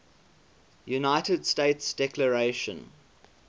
united states declaration